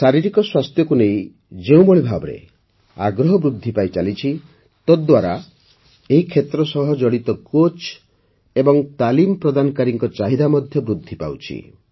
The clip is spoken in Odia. ଶାରୀରିକ ସ୍ୱାସ୍ଥ୍ୟକୁ ନେଇ ଯେଉଁଭଳି ଭାବେ ଆଗ୍ରହ ବୃଦ୍ଧି ପାଇଚାଲିଛି ତାହାଦ୍ୱାରା ଏହି କ୍ଷେତ୍ର ସହ ଜଡ଼ିତ କୋଚ୍ ଏବଂ ତାଲିମ ପ୍ରଦାନକାରୀଙ୍କ ଚାହିଦା ମଧ୍ୟ ବୃଦ୍ଧି ପାଉଛି